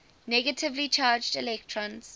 negatively charged electrons